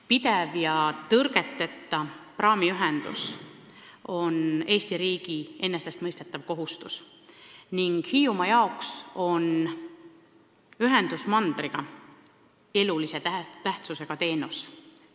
Pidev ja tõrgeteta praamiühendus on Eesti riigi enesestmõistetav kohustus ning Hiiumaa jaoks on ühendus mandriga elulise tähtsusega teenus.